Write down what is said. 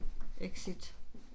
Exit